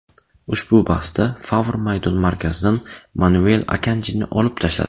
Ushbu bahsda Favr maydon markazidan Manuel Akanjini olib tashladi.